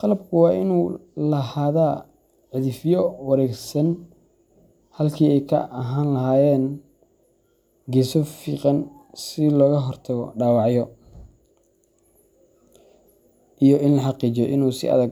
Qalabku waa inuu lahaadaa cidhifyo wareegsan halkii ay ka ahaan lahaayeen geeso fiiqan si looga hortago dhaawacyo, iyo in la xaqiijiyo inuu si adag.